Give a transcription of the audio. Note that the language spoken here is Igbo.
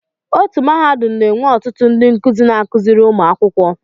Otu Mahadum na-enwe ọtụtụ ndị nkuzi na-akụziri ụmụ akwụkwọ